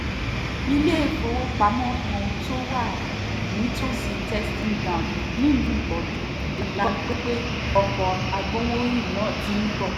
iléèwọ̀fọwọ́pamọ́ kan tó wà nítòsí testing ground nílùú ibojàn la gbọ́ pé ọkọ̀ agbowórin náà ti ń bọ̀